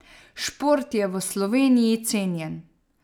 Šport je v Sloveniji cenjen.